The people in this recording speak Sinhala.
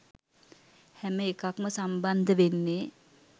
හැම එකක්ම සම්බන්ධ වෙන්නේ